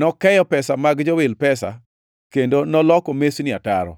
Nokeyo pesa mag jowil pesa, kendo noloko mesnigi ataro.